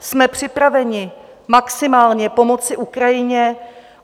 Jsme připraveni maximálně pomoci Ukrajině.